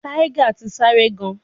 Tiger ti n sare gan